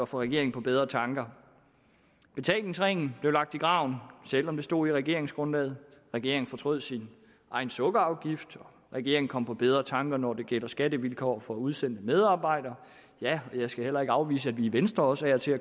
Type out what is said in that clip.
få regeringen på bedre tanker betalingsringen blev lagt i graven selv om det stod i regeringsgrundlaget regeringen fortrød sin egen sukkerafgift regeringen kom på bedre tanker når det gælder skattevilkår for udsendte medarbejdere ja jeg skal heller ikke afvise at vi i venstre også af og til